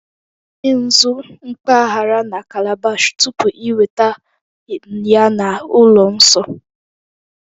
Tinye nzu mpaghara na calabash tupu ị weta ya na ụlọ nsọ